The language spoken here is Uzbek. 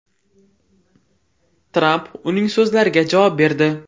Tramp uning so‘zlariga javob berdi.